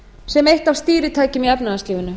sem eitt af stýritækjunum í efnahagslífinu